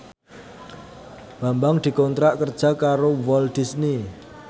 Bambang dikontrak kerja karo Walt Disney